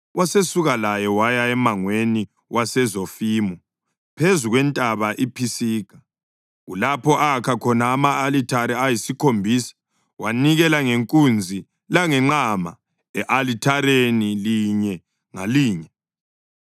Wasesuka laye waya emangweni waseZofimu phezu kwentaba iPhisiga, kulapho akha khona ama-alithare ayisikhombisa wanikela ngenkunzi langenqama e-alithareni linye ngalinye.